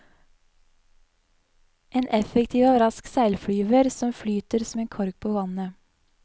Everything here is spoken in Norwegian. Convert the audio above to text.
En effektiv og rask seilflyver, som flyter som en kork på vannet.